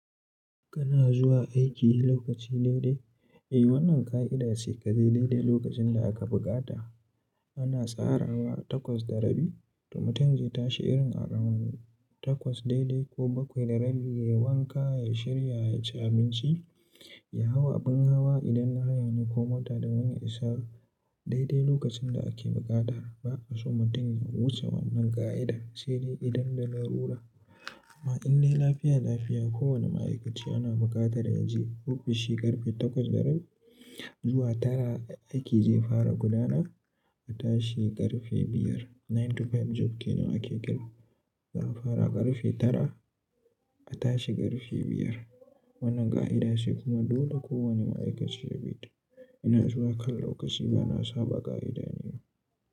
Kana zuwa aiki lokaci daidai? Eh wannan ka'ida ce kaze daidai lokacin da aka buƙata. Ana tsarawa takwas da rabi to mutum zai tashi irin a ranan takwas daidai ko bakwai da rabi nayi wanka, ya shirya, yaci abinci, ya hau abin hawa idan haya ne ko mota da wani isar daidai lokacin da ake bukata. Ba a so mutum ya wuce wannan ka'ida se dai idan da larura. Amma in dai lafiya lafiya kowane ma'aikaci ana buƙatar ya je ofishi karfe takwas da rabi zuwa tara aiki zai fara gudana a tashi karfe biyar. Nine to five job kenan ake kira. Zai fara karfe tara a tashi karfe biyar. Wannan ka'ida ce kuma dole kowane ma'aikaci ya bi ta. Ina zuwa kallon lokaci bana saba ka'ida ne.